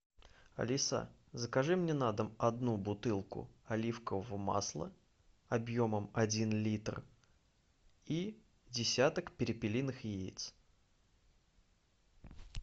алиса закажи мне на дом одну бутылку оливкового масла объемом один литр и десяток перепелиных яиц